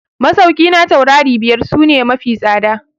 Masauki na taurari biyar su ne mafi tsada.